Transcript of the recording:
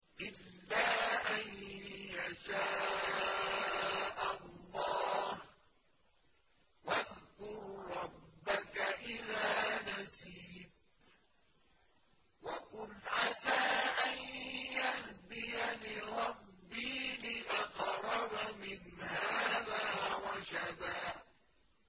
إِلَّا أَن يَشَاءَ اللَّهُ ۚ وَاذْكُر رَّبَّكَ إِذَا نَسِيتَ وَقُلْ عَسَىٰ أَن يَهْدِيَنِ رَبِّي لِأَقْرَبَ مِنْ هَٰذَا رَشَدًا